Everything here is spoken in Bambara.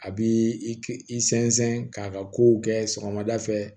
A bi i k i sɛnsɛn k'a ka kow kɛ sɔgɔmada fɛ